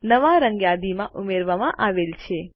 નવા રંગ યાદીમાં ઉમેરવામાં આવેલ છે